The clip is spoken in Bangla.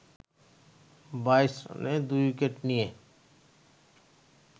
২২ রানে ২ উইকেট নিয়ে